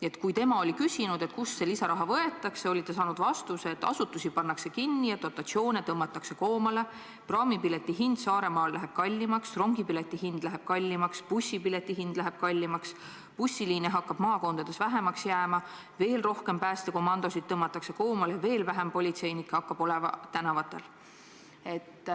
Ja kui ta oli küsinud, kust see lisaraha võetakse, oli ta saanud vastuseks, et asutusi pannakse kinni ja dotatsioone tõmmatakse koomale, praamipilet Saaremaale läheb kallimaks, rongipilet läheb kallimaks, bussipilet läheb kallimaks, maakondlikke bussiliine hakkab vähemaks jääma, veel rohkem päästekomandosid tõmmatakse koomale, vähem politseinikke jääb tänavatele.